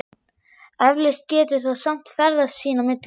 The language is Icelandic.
Eflaust getur það samt ferðast sín á milli.